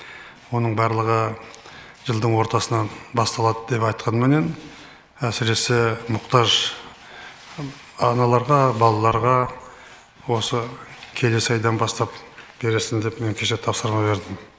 оның барлығы жылдың ортасынан басталады деп айтқанменен әсіресе мұқтаж аналарға балаларға осы келесі айдан бастап бересің деп мен кеше тапсырма бердім